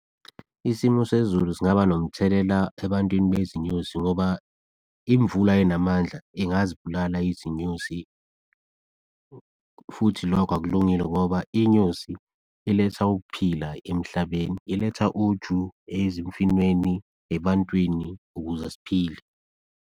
Isimo sezulu zingaba nomthelela ebantwini bezinyosi ngoba imvula enamandla ingazibulala izinyosi futhi lokho akulungile ngoba inyosi iletha ukuphila emhlabeni, iletha uju ezimfinweni, ebantwini, ukuze siphile.